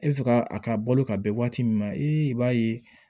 E bɛ fɛ ka a ka balo ka bɛn waati min ma i b'a ye